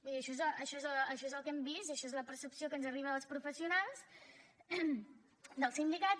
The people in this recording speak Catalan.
vull dir això és el que hem vist això és la percepció que ens arriba dels professionals dels sindicats